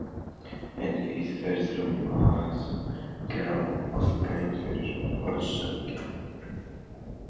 En við verðum að gera okkur grein fyrir orsökinni.